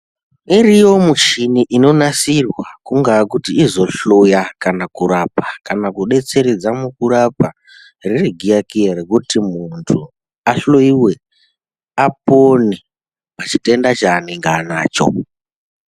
Iriyo michini inonasmtsirwa kungava kuti izohloya kana kurapa kana kubetseredza mukurapa ririgiyakiya rekuti muntu ahloyiwe apone pachitenda chaanenge anacho.